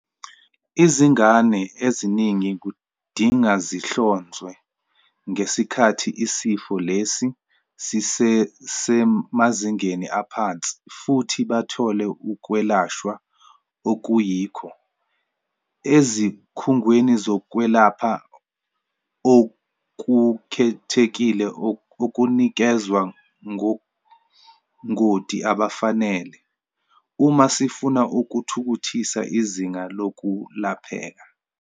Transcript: Izingane eziningi kudinga zihlonzwe ngesikhathi isifo lesi sisesemazingeni aphansi futhi bathole ukwelashwa okuyikho - ezikhungweni zokwelapha okukhethekile okunikezwa ngongoti abafanele - uma sifuna ukuthuthukisa izinga lokulapheka.